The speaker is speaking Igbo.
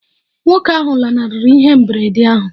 Nwoke ahụ lanarịrị ihe mberede ahụ?